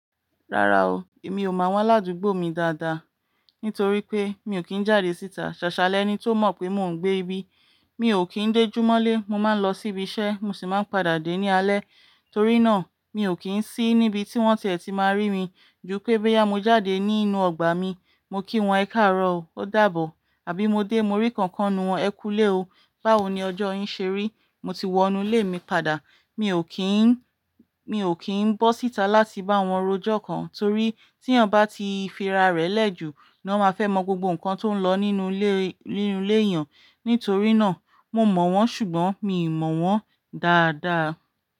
Rárá o, èmi ò mọ àwọn aládùúgbò mi dáadáa, nítorí pé mi ò kí ń jáde síta. Ṣàṣà lẹ́ni tó mọ̀ pé mò ń gbé ibí. Mi ò kí ń dé jùmọ̀lé, mo máa ń lọ síbi iṣẹ́, mo sì máa ń padà dé ní alẹ́. Torí náà, mi ò kí ń sí níbi tí wọ́n tie ti máa rí mi. Ju pẹ́ boya mo jáde nínú ọgbà mi, mo kí wọn e káàróò, ó dàbọ̀. Àbí mo dé mo rí kankan wọn, ẹ kú ilé o, báwo ni ọjọ́ ń ṣe ri? Mo ti wọ inú ilé mi padà. Mi ò kí ń bọ́ síta láti bá wọn rojọ́ kan, torí tí ènìyàn bá ti fira rẹ̀ lẹ́ jù, ni wọ́n máa fẹ́ mọ gbogbo nǹkan tó ń lo nínú ile èèyàn. Nítorí náà, mo mọ̀ wọ́n ṣùgbọ́n mi ò mọ̀ wọ́n dáadáa.